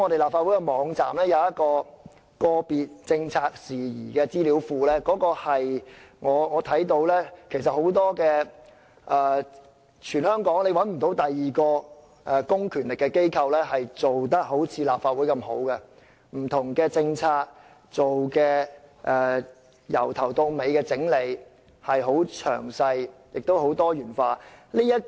立法會網站設有個別政策事宜資料庫，我認為全港也找不到另一個公權力機構做得好像立法會般那麼好，就不同政策從頭到底地整理，很詳細，也很多元化。